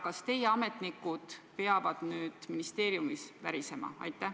Kas teie ametnikud peavad nüüd ministeeriumis värisema?